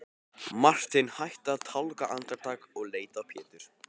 Marteinn hætti að tálga andartak og leit á Pétur.